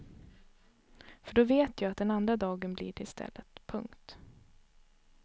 För då vet jag att den andra dagen blir det istället. punkt